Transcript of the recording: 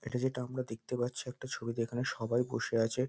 এটা যেটা আমরা দেখতে পাচ্ছি একটা ছবিতে এখানে সবাই বসে আছে।